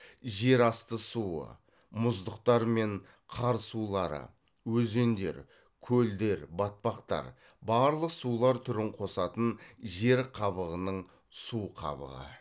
жер асты суы мұздықтар мен қар сулары өзендер көлдер батпақтар барлық сулар түрін косатын жер қабығының су қабығы